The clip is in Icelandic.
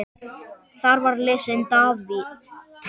Þar var lesinn David